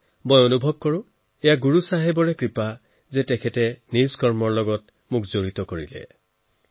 মই অনুভৱ কৰিছো যে গুৰু চাহেবৰ মোৰ ওপৰ বিশেষ কৃপা আছে তেওঁ সদায় আমাৰ নিজৰ কামত নিচেই ওচৰৰ পৰা জড়িত হোৱাৰ সুযোগ দিছে